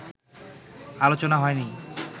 আলোচনা হয়নি